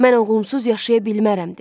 "Mən oğlumsuz yaşaya bilmərəm" dedi.